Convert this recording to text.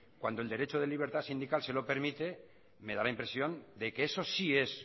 cuando el derecho de libertad sindical se lo permite me da la impresión de que eso sí es